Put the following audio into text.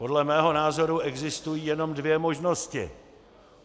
Podle mého názoru existují jenom dvě možnosti.